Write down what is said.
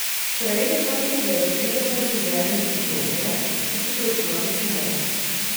Prej ali slej pridemo v življenju v obdobje, ko potrebujemo pomoč.